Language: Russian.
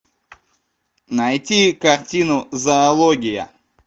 найти картину зоология